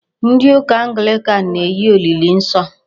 Ndị ụka Anglican na-enye olili nsọ.